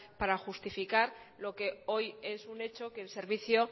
para justificar lo que hoy es un hecho que el servicio